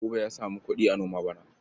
Buba ya samu kuɗi a noma bana.